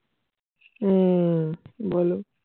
হম বলো.